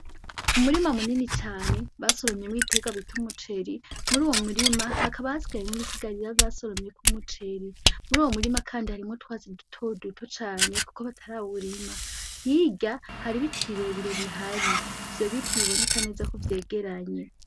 Umurima munini cane basoromyemwo ibiterwa bita umuceri, muruwo murima hakaba hasigayemwo ibisigarira basoromyeko umuceri, Muruwo murima kandi harimwo utwatsi dutoduto cane kuko batarawurima, hirya hari ibiti birebire bihari ivyo biti biboneka neza ko vyegeranye.